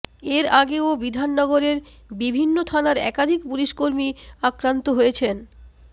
এর আগেও বিধাননগরের বিভিন্ন থানার একাধিক পুলিশকর্মী আক্রান্ত হয়েছেন